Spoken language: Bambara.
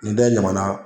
Ni da in ɲaman